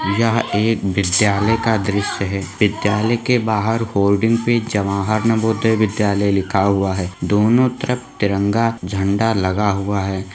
यह एक विद्यालय का दृश्य हैं विद्यालय के बाहर बोर्डिंग पर जवाहर नवोदय विद्यालय लिखा हुआ हैंदोनों तरफ तिरंगा झंडा लगा हुआ है ।